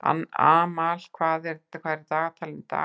Amal, hvað er í dagatalinu í dag?